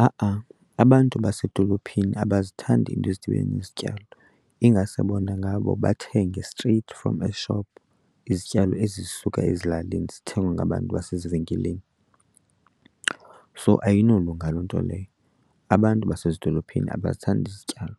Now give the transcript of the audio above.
Ha-a, abantu basedolophini abazithandi iinto ezidibene nezityalo, ingase bona ngabo bathenge straight from eshophu izityalo ezisuka ezilalini zithengwe ngabantu basezivenkileni. So ayinolunga loo nto leyo. Abantu basezidolophini abazithandi izityalo